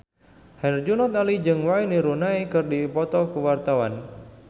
Herjunot Ali jeung Wayne Rooney keur dipoto ku wartawan